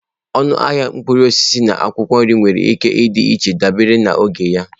Ọnụ ahịa mkpụrụ osisi na akwụkwọ nri nwere ike ịdị iche dabere na oge.